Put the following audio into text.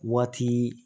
Waati